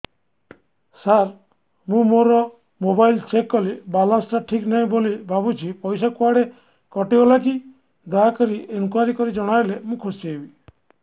ସାର ମୁଁ ମୋର mobile check କଲି ବାଲାନ୍ସ ଟା ଠିକ ନାହିଁ ବୋଲି ଭାବୁଛି ପଇସା କୁଆଡେ କଟି ଗଲା କି ଦୟାକରି ଇନକ୍ୱାରି କରି ଜଣାଇଲେ ମୁଁ ଖୁସି ହେବି